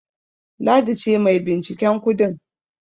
Ladi ce mai binciken kudin.